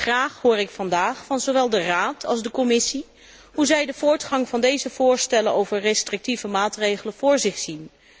Graag hoor ik vandaag van zowel de Raad als de Commissie hoe zij de voortgang van deze voorstellen voor beperkende maatregelen voor zich zien.